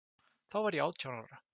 Þá var ég átján ára.